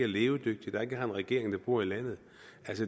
levedygtig og ikke har en regering der bor i landet